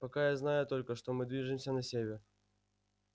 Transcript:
пока я знаю только что мы движемся на север